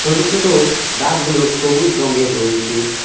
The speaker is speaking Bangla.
ছোট ছোট গাছগুলো সবুজ রঙ্গের রয়েচে।